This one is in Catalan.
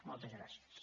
moltes gràcies